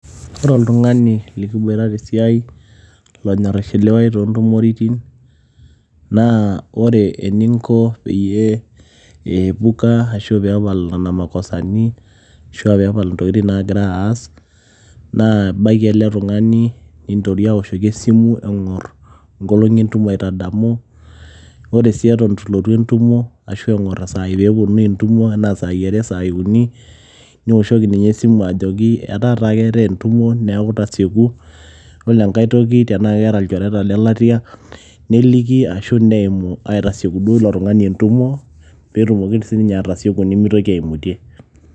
Ore oltung'ani oishiliwa tesiai lonyorr aishiliwayu tontumoritin, naa ore eningo peyie piepuka arashu epaal nena makosani nepal intokiting' nagira aas naa ibaiki ele tung'ani ninteru awoshoki esimu nkolong'i entumo aitadamu wore sii itu lotu entumo arashu eng'or isaii enaa saii are saii uni niwoshoki ajoki etaa taa ketai entumo neaku tasieku wore engae toki naa eneta ilchoreta le latia neliki arashu neimu aitasieki ilo tung'ani entumo petumoki atasieku nimitoki aimutie.